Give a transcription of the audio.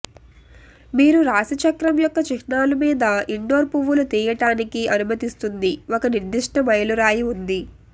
మీరు రాశిచక్రం యొక్క చిహ్నాలు మీద ఇండోర్ పువ్వులు తీయటానికి అనుమతిస్తుంది ఒక నిర్దిష్ట మైలురాయి ఉంది